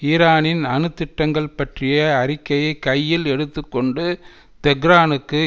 ஈரானின் அணு திட்டங்கள் பற்றிய அறிக்கையை கையில் எடுத்து கொண்டு தெஹ்ரானுக்கு